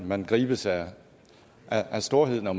man gribes af storhed når